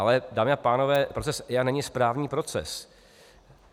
Ale dámy a pánové, proces EIA není správní proces.